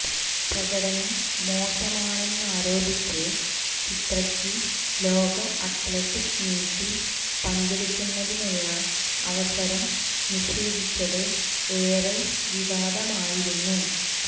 പ്രകടനം മോശമാണെന്നാരോപിച്ച് ചിത്രക്ക് ലോക അത്ലറ്റിക് മീറ്റിൽ പങ്കെടുക്കുന്നതിനുള്ള അവസരം നിഷേധിച്ചത് ഏറെ വിവാദമായിരുന്നു